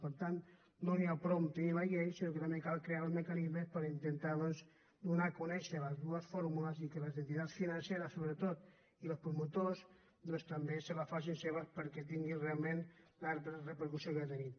per tant no n’hi ha prou de tenir la llei sinó que també cal crear els mecanismes per intentar doncs donar a conèixer les dues fórmules i que les entitats financeres sobretot i els promotors se les facin seves perquè tinguin realment la repercussió que ha de tenir